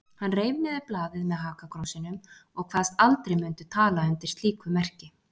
Hann reif niður blaðið með hakakrossinum og kvaðst aldrei mundu tala undir slíku merki.